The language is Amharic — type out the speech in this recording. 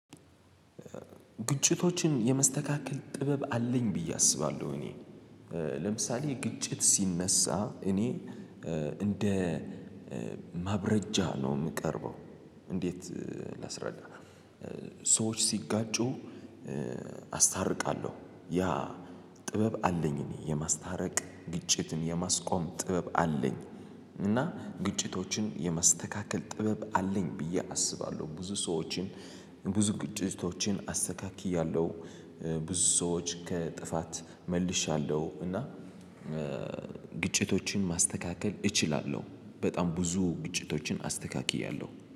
ግጭቶችን የመስተካከል ጥበብ አለኝ ብዬ አስባለሁ። እኔ ለምሳሌ ግጭት ሲነሳ እኔ እንደ ማብረጃ ነው የምቀርበው። እንዴት? ላስረዳ ሰዎች ሲጋጩ አስታርቃለሁ። ያ ጥበብ አለኝ። እኔ የማስታረቅ ግጭትን የማስቆም ጥበብ አለኝ። እና ግጭቶችን የማስተካከል ጥበብ አለኝ ብዬ አስባለሁ። ብዙ ሰዎችን ብዙ ግጭቶችን አስተካክያለሁ። ብዙ ሰዎች ከጥፋት መልሻለሁ። እና እእ ማስተካከል እችላለሁ በጣም ብዙ ግጭቶችን አስተካክያለሁ